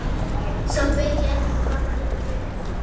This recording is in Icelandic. Samt veit ég ekki hvað það getur verið.